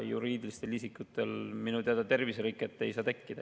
Juriidilistel isikutel minu teada terviseriket ei saa tekkida.